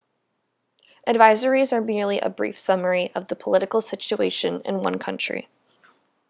advisories are merely a brief summary of the political situation in one country